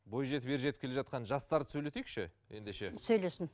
бой жетіп ер жетіп кел жатқан жастарды сөйлетейікші ендеше сөйлесін